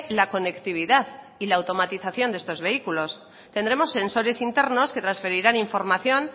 la conectividad y la automatización de estos vehículos tendremos sensores internos que transferirán información